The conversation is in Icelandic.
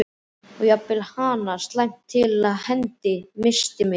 Og jafnvel hana, slæmt til hendi, misst mig.